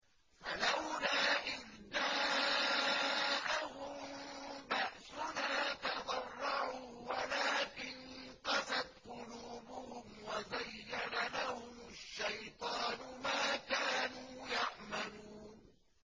فَلَوْلَا إِذْ جَاءَهُم بَأْسُنَا تَضَرَّعُوا وَلَٰكِن قَسَتْ قُلُوبُهُمْ وَزَيَّنَ لَهُمُ الشَّيْطَانُ مَا كَانُوا يَعْمَلُونَ